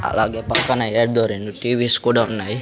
అలాగే పక్కన ఏదో రెండు టీ_వీస్ కూడా ఉన్నాయి.